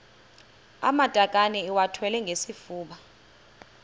amatakane iwathwale ngesifuba